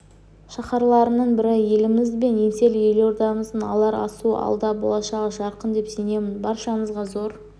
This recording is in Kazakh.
шаһарларының бірі еліміз бен еңселі елордамыздың алар асуы алда болашағы жарқын деп сенемін баршаңызға зор